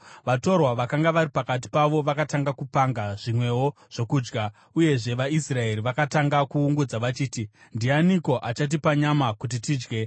Vatorwa vakanga vari pakati pavo vakatanga kupanga zvimwewo zvokudya, uyezve vaIsraeri vakatanga kuungudza vachiti, “Ndianiko achatipa nyama kuti tidye?